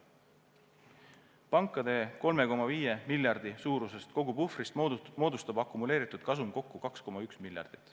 Pankade 3,5 miljardi suurusest kogupuhvrist moodustab akumuleeritud kasum kokku 2,1 miljardit.